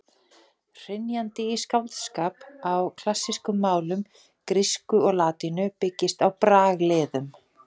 Hrynjandi í skáldskap á klassískum málum, grísku og latínu, byggist á bragliðum.